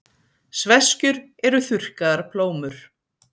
sveskjur eru þurrkaðar plómur